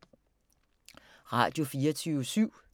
Radio24syv